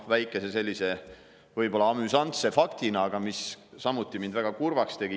Väike selline amüsantne fakt, mis mind samuti väga kurvaks tegi.